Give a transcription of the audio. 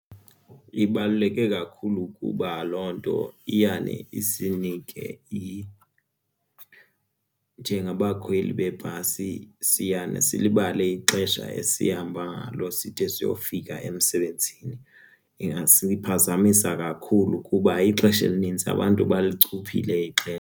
Ibaluleke kakhulu kuba loo nto iyane isinike njengabakhweli beebhasi siyane silibale ixesha esihamba ngalo side siyofika emsebenzini, iyasiphazamisa kakhulu kuba ixesha elinintsi abantu balichuphile ixesha.